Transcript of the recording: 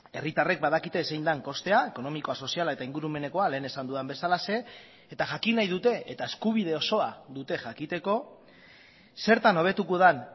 herritarrek badakite zein den kostea ekonomikoa soziala eta ingurumenekoa lehen esan dudan bezalaxe eta jakin nahi dute eta eskubide osoa dute jakiteko zertan hobetuko den